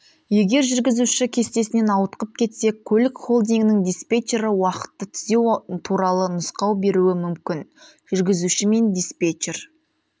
егер жүргізуші кестесінен ауытқып кетсе көлік холдингінің диспетчері уақытты түзеу туралы нұсқау беруі мүмкін жүргізуші мен диспетчер